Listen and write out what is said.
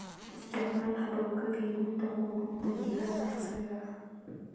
Isticmaal hababka kaydinta quudinta digaaga casriga ah.